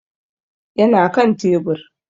Yana kan tebur